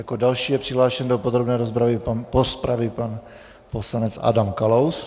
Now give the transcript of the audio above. Jako další je přihlášen do podrobné rozpravy pan poslanec Adam Kalous.